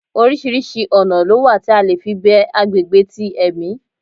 Oríṣiríṣi oná lo wa tí a le fí be agbegbe ti ẹmí